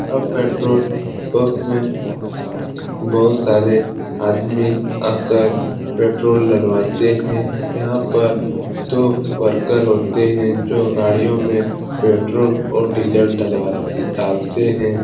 यह petrol pump में बहुत सारे आदमी आकर पेट्रोल डलवातें हैं। यहाँ पर दो वर्कर होते हैं जो गाड़ियों में पेट्रोल और डीजल डलवा डालते हैं।